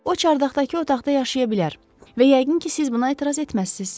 O çardaqdakı otaqda yaşaya bilər və yəqin ki, siz buna etiraz etməzsiz.